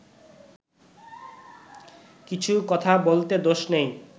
কিছু কথা বলতে দোষ নেই